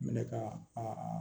Minɛ ka a